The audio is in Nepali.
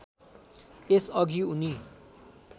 यस अघि उनी